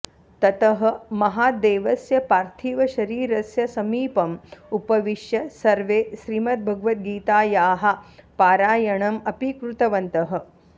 ततः महादेवस्य पार्थिवशरीरस्य समीपम् उपविश्य सर्वे श्रीमद्भगवद्गीतायाः पारायाणम् अपि कृतवन्तः